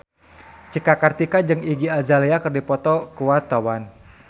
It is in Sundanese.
Cika Kartika jeung Iggy Azalea keur dipoto ku wartawan